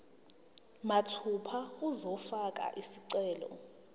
mathupha uzofaka isicelo